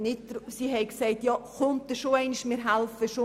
Doch diese Chance wurde nicht genutzt.